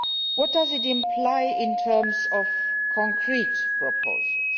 What does it imply in terms of concrete proposals?